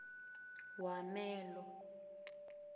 wamelo